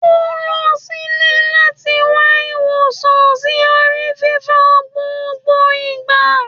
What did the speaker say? O n lọ sílé lati wa iwosan si ori fífọ́ gbogbo igba